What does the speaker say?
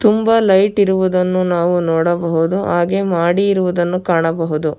ತುಂಬಾ ಲೈಟ್ ಇರುವುದನ್ನು ನಾವು ನೋಡಬಹುದು ಹಾಗೆ ಮಾಡಿ ಇರುವದನ್ನು ಕಾಣಬಹುದು.